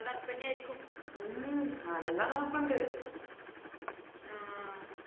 ഇപ്പൊ തണുപ്പെന്നെ ആയിരിക്കും